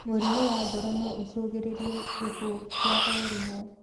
Mũrimũ wa ngoro noũcũngĩrĩrie gĩkuũ kĩa o rĩmwe